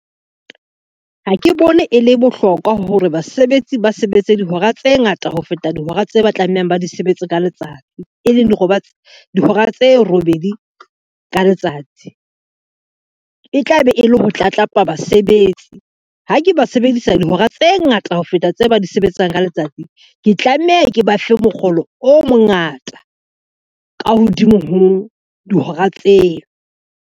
Ha ke bone e le bohlokwa hore basebetsi ba sebetse dihora tse ngata ho feta dihora tse ba tlamehang ba di sebetse ka letsatsi, e leng dihora tse robedi ka letsatsi. E tla be e le ho tlatlapa basebetsi, ha ke ba sebedisa dihora tse ngata ho feta tse ba di sebetsang ka letsatsi, ke tlameha ke ba fe mokgolo o mongata ka hodimo ho dihora tseo.